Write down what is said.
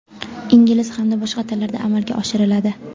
ingliz hamda boshqa tillarda amalga oshiriladi.